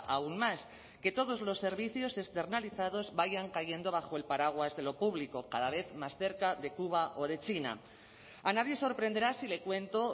aún más que todos los servicios externalizados vayan cayendo bajo el paraguas de lo público cada vez más cerca de cuba o de china a nadie sorprenderá si le cuento